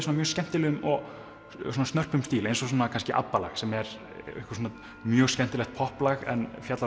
skemmtilegum og snörpum stíl eins og kannski sem er mjög skemmtilegt popplag en fjallar